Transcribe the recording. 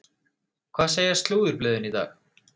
Hvað segja slúðurblöðin í dag?